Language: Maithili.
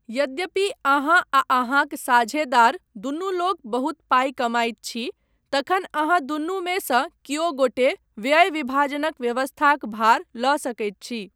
यद्यपि अहाँ आ अहाँक साझेदार दुनूलोक बहुत पाइ कमाइत छी तखन अहाँ दुनुमे सँ कियो गोटे व्यय विभाजनक व्यवस्थाक भार लऽ सकैत छी।